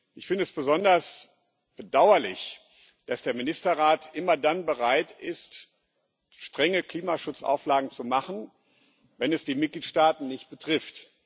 Ich finde es besonders bedauerlich, dass der Ministerrat immer dann bereit ist, strenge Klimaschutzauflagen zu machen, wenn es die Mitgliedstaaten nicht betrifft.